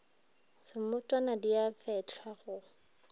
semotwana di a fehlwa go